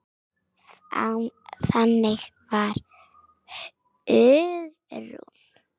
Þannig var Hugrún.